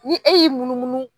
Ni e y'i munumunu.